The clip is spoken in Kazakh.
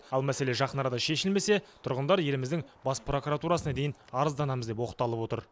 ал мәселе жақын арада шешілмесе тұрғындар еліміздің бас прокуратурасына дейін арызданамыз деп оқталып отыр